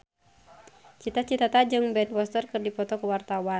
Cita Citata jeung Ben Foster keur dipoto ku wartawan